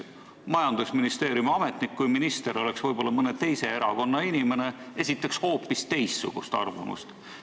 Kui minister oleks mõne teise erakonna inimene, esitaks näiteks majandusministeeriumi ametnik hoopis teistsugust arvamust.